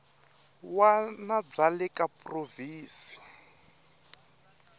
wana bya le ka provhinsi